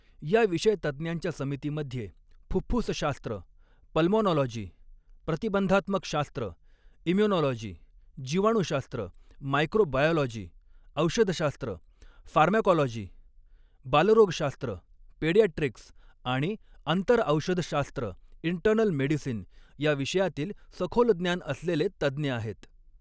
या विषय तज्ञांच्या समितीमध्ये फुफ्फुसशास्त्र पल्माॅनाॅलाॅजी, प्रतिबंधात्मक शास्त्र इम्युनाॅलाॅजी, जिवाणूशास्त्र मायक्रोबायाॅलाॅजी, औषधशास्त्र फारमॅकाॅलाॅजी, बालरोगशास्त्र पेडियाट्रीक्स, आणि आंतरऔषधशास्त्र इन्टर्नल मेडिसिन या विषयांतील सखोल ज्ञान असलेले तज्ञ आहेत.